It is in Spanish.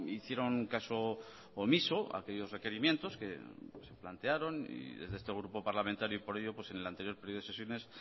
hicieron caso omiso a aquellos requerimientos que se plantearon y desde este grupo parlamentario por ello en el anterior periodo de sesiones